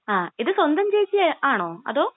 ങാ..ഇത് സ്വന്തം ചേച്ചി ആണോ? അതോ?